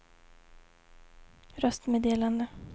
röstmeddelande